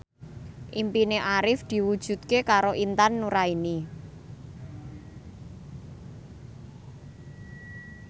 impine Arif diwujudke karo Intan Nuraini